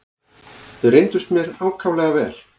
Þau reyndust mér ákaflega vel.